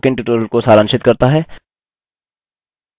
यह spoken tutorial को सारांशित करता है